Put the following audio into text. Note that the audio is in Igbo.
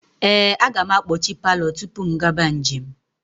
Ee, aga m akpọchi palọ tupu m gaba njem.